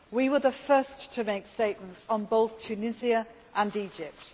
We were the first to make statements on both Tunisia and Egypt.